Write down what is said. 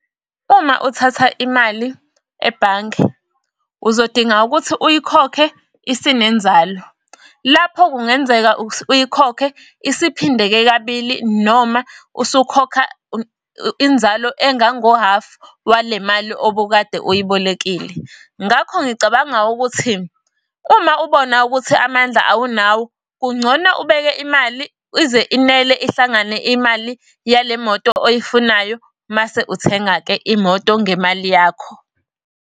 Uma uthatha imali ebhange, uzodinga ukuthi uyikhokhe isinenzalo. Lapho kungenzeka uyikhokhe isiphindeke kabili noma usukhokha inzalo engango-half wale mali obukade uyibolekile. Ngakho ngicabanga ukuthi uma ubona ukuthi amandla awunawo, kungcono ubeke imali ize inele ihlangane imali yale moto oyifunayo. Mase uthenga-ke imoto ngemali yakho.